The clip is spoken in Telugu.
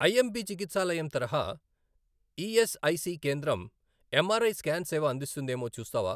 ఐఎంపి చికిత్సాలయం తరహా ఈఎస్ఐసి కేంద్రం ఏంఆర్ఐ స్కాన్ సేవ అందిస్తుందేమో చూస్తావా?